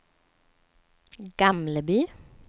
Gamleby